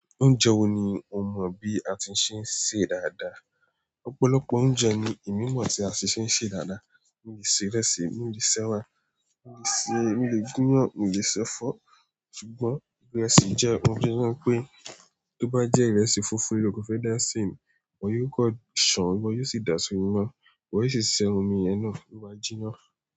Oúnjẹ wo ni o mọ bí a ti ń ṣe ń ṣe dáadáa? Ọ̀pọ̀lọpọ̀ oúnjẹ ni èmi mọ̀ tí a ṣe ṣe ń ṣe dáadáa. Mi lè ṣe ìrẹsì, mi lè se ẹwà, mi lè se ilé gunyàn, mi lè se ẹ̀fọ́. Ṣùgbọ́n ìrẹsì jẹ́ ohun tí mo mọ̀ pé tó bá jẹ ìrẹsì funfun, ìlò fẹ́ dá sí mi, mo yóò kọ ṣàn, mo yóò sì dasi inọ́, mo yóò sì se omi yẹn náà ló máa jinná.